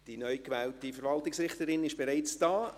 Die neu gewählte Verwaltungsrichterin ist bereits hier.